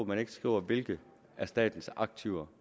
man ikke skriver hvilke af statens aktiver